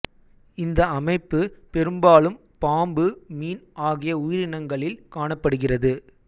இந்த அமைப்பு பெரும்பாலும் பாம்பு மீன் ஆகிய உயிரினங்களில் காணப்படுகிறது